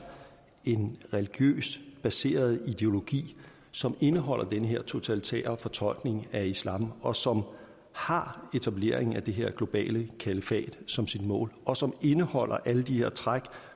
en religiøst baseret ideologi som indeholder den her totalitære fortolkning af islam og som har etableringen af det her globale kalifat som sit mål og som i øvrigt indeholder alle de her træk